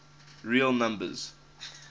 real numbers